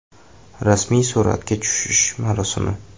Rasmiy suratga tushish marosimi.